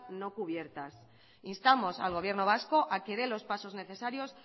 no cubiertas instamos al gobierno vasco a que dé los pasos necesarios